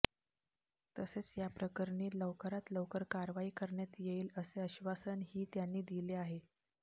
तसेच याप्रकरणी लवकरात लवकर कारवाई करण्यात येईल असे आश्वासन ही त्यांनी दिले आहे